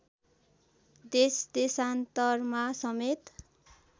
देशदेशान्तरमा समेत